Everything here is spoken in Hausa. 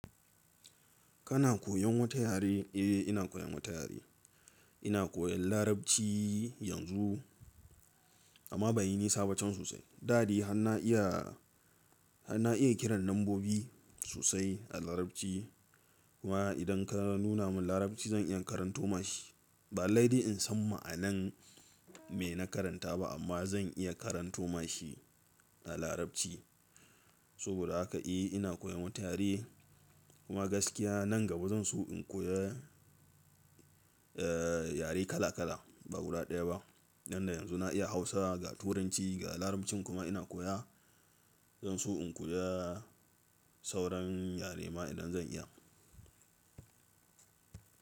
Kana koyan wata yare? Eh ina koyan wata yare. Ina koyan Larabci yanzu amma banyi nisaba cen sosai. Dadai har na iya, har na iya kiran lambobi sosai a Larabci kuma idan ka nuna min Larabci zan iya karanto mashi. Ba lallai in san ma'anan me na karanta ba amma zan iya karanto mashi a Larabci. Saboda haka eh ina koyan wata yare kuma gaskiya nan gaba zan so in koya, eh yare kala kala ba guda ɗaya ba. Tunda yanzu na iya Hausa, ga Turanci, ga Larabcin kuma ina koya. Zan so in koya sauran yare ma idan zan iya.